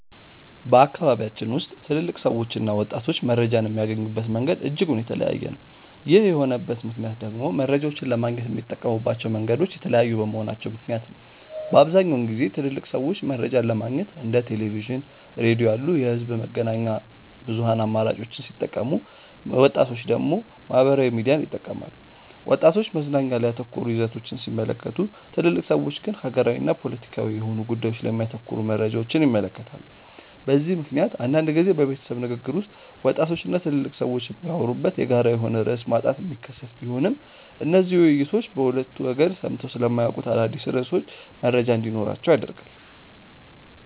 በአካባቢያችን ውስጥ ትልልቅ ሰዎችና ወጣቶች መረጃን የሚያገኙበት መንገድ እጅጉን የተለያየ ነው። ይህ የሆነበት ምክንያት ደግሞ መረጃን ለማግኘት የሚጠቀሙባቸው መንገዶች የተለያዩ በመሆናቸው ምክንያት ነው። በአብዛኛውን ጊዜ ትልልቅ ሰዎች መረጃን ለማግኘት እንደ ቴሌቪዥን፣ ሬዲዮ ያሉ የህዝብ መገናኛ ብዙሃን አማራጮችን ሲጠቀሙ ወጣቶች ደግሞ ማህበራዊ ሚዲያን ይጠቀማሉ። ወጣቶች መዝናኛ ላይ ያተኮሩ ይዘቶችን ሲመለከቱ ትልልቅ ሰዎች ግን ሀገራዊና ፖለቲካዊ የሆኑ ጉዳዮች ላይ የሚያተኩሩ መረጃዎችን ይመለከታሉ። በዚህ ምክንያት አንዳንድ ጊዜ በቤተሰብ ንግግር ውስጥ ወጣቶች እና ትልልቅ ሰዎች የሚያወሩበት የጋራ የሆነ ርዕስ ማጣት የሚከሰት ቢሆንም እነዚህ ውይይቶች በሁለቱ ወገን ሰምተው ስለማያውቁት አዳዲስ ርዕሶች መረጃ እንዲኖራቸው ያደርጋል።